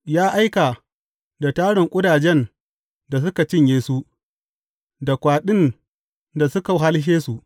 Ya aika da tarin ƙudajen da suka cinye su, da kwaɗin da suka wahalshe su.